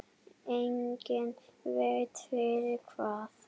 Enginn veit fyrir hvað.